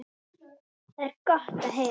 Það er gott að heyra.